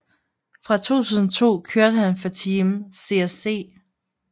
Fra 2002 kørte han for Team CSC